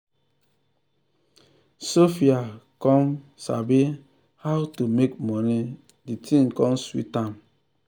sophia come um sabi how um to make money de thing come sweet am.